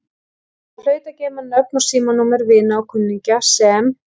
Hann hlaut að geyma nöfn og símanúmer vina og kunningja sem